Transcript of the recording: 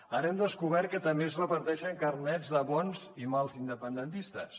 ara hem descobert que també es reparteixen carnets de bons i mals independentistes